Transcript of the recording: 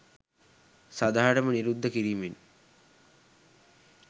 සදහටම නිරුද්ධ කිරීමෙන්